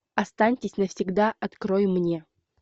останьтесь навсегда открой мне